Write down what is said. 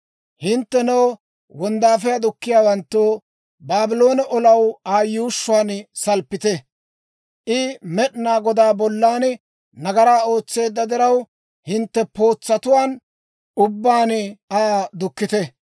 «Hinttenoo, wonddaafiyaa dukkiyaawantto, Baabloone olanaw Aa yuushshuwaan salppite; I Med'inaa Godaa bollan nagaraa ootseedda diraw, hintte pootsatuwaan ubbaan Aa dukkite.